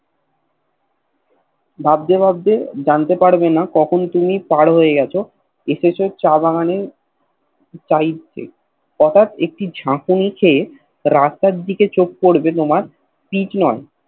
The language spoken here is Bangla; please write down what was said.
ভাবতে ভাবতে জানতে পারবেনা কখন তুমি পার হয়ে গেছ এসেছ চা বাগান এর সাইড এ হটাৎ একটি ঝাকুনি খায় রাস্তার দিকে চোখ পড়বে পিচ নয়